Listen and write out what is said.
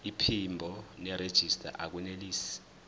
iphimbo nerejista akunelisi